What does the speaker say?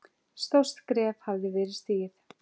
Stórt skref hafði verið stigið.